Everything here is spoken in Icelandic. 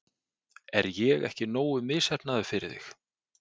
Er ég ekki nógu misheppnaður fyrir þig?